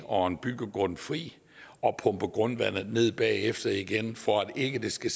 og en byggegrund fri og pumpe grundvandet ned bagefter igen for at der ikke skal